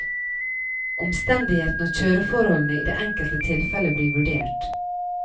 Omstendighetene og kjøreforholdene i det enkelte tilfelle blir vurdert.